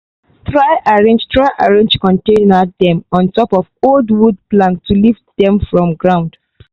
try arrange try arrange container dem on top old wood plank to lift dem from ground.